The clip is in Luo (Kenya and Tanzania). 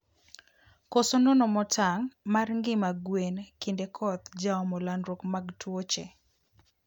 Koso nono motang mar ngima gwen kinde koth jaomo landruok mag tuoche